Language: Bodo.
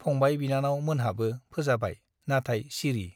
फंबाय बिनानाव मोनहाबो फोजाबाय , नाथाय सिरि ।